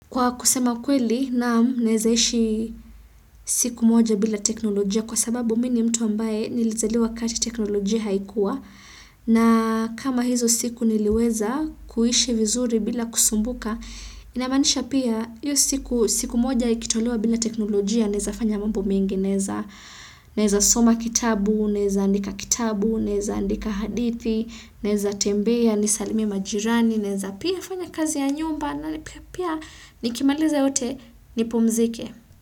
Kwa kusema ukweli naam naeza ishi siku moja bila teknolojia kwa sababu mimi ni mtu ambaye nilizaliwa wakati teknolojia haikuwa na kama hizo siku niliweza kuishi vizuri bila kusumbuka, inamanisha pia hiyo siku, siku moja ikitolewa bila teknolojia nezafanya mambo mengi naeza soma kitabu, naeza andika kitabu, naeza andika hadithi, naeza tembea, nisalimie majirani, naeza pia fanya kazi ya nyumba. Na ni pia pia nikimaliza yote nipumzike.